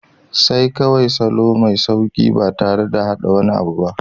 Sai kawai salo mai sauƙi ba tare da haɗa wani abu ba.